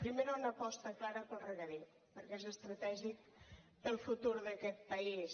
primera una aposta clara pel regadiu perquè és estratègic per al futur d’aquest país